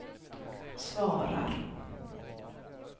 svarar